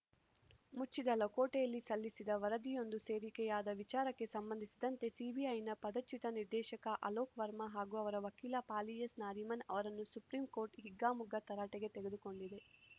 ಮುಚ್ಚಿದ ಲಕೋಟೆಯಲ್ಲಿ ಸಲ್ಲಿಸಿದ ವರದಿಯೊಂದು ಸೋರಿಕೆಯಾದ ವಿಚಾರಕ್ಕೆ ಸಂಬಂಧಿಸಿದಂತೆ ಸಿಬಿಐನ ಪದಚ್ಯುತ ನಿರ್ದೇಶಕ ಅಲೋಕ್‌ ವರ್ಮಾ ಹಾಗೂ ಅವರ ವಕೀಲ ಫಾಲಿಎಸ್‌ನಾರಿಮನ್‌ ಅವರನ್ನು ಸುಪ್ರೀಂಕೋರ್ಟ್‌ ಹಿಗ್ಗಾಮುಗ್ಗಾ ತರಾಟೆಗೆ ತೆಗೆದುಕೊಂಡಿದೆ